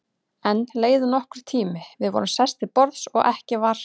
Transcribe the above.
Enn leið nokkur tími, við vorum sest til borðs og ekki var